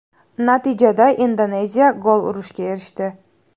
Natijada Indoneziya gol urishga erishdi.